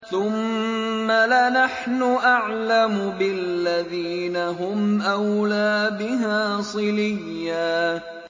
ثُمَّ لَنَحْنُ أَعْلَمُ بِالَّذِينَ هُمْ أَوْلَىٰ بِهَا صِلِيًّا